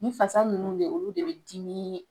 Nin fasa ninnu de olu de be dimii